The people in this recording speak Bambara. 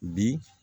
Bi